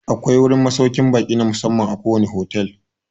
Akwai wurin masaukan ba'i na musamman a kowane fotel